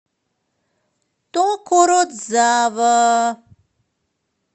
токородзава